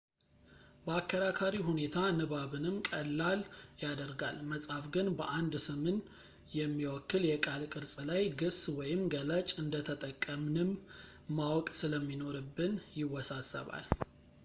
በአከራካሪ ሁኔታ ንባብንም ቀላል ያደርጋል መጻፍ ግን በአንድ ስምን የሚወክል የቃል ቅርጽ ላይ ግስ ወይም ገላጭ እንደተጠቀንምን ማወቅ ስለሚኖርብን ይወሳሰባል